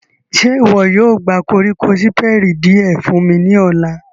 Ṣe iwọ yóò gba koriko Siperi diẹ fun mi ni ọla?